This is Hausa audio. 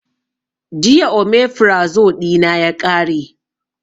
Jiya omefrazo ɗina ya ƙare